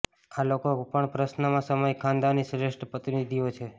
આ લોકો પણ પ્રશ્નમાં સમય ખાનદાની શ્રેષ્ઠ પ્રતિનિધિઓ છે